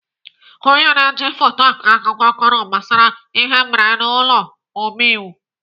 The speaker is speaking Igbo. Ọnye na-eji foto akọ akụkọ kọrọ gbasara ihe mere n'ụlọ omeiwu.